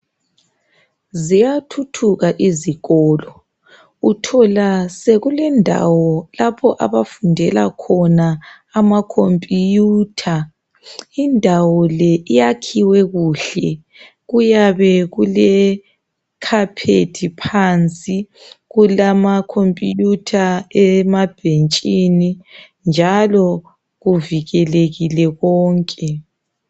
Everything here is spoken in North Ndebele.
Ziyathuthuka izikolo .UThola sekulendawo lapho abafundela khona ama computer. Indawo le iyakhiwe kuhle. Kuyabe kule carpet phansi, kulamacomputer emabhentshini njalo kuvikelekile konke.